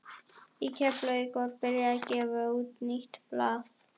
Í Keflavík var byrjað að gefa út nýtt blað.